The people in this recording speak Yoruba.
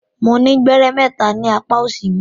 Mo ni gbẹrẹ mẹta ni apa òsì mi.